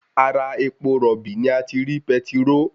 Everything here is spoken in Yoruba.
Ara epo rọ̀bì ni a ti rí petiróò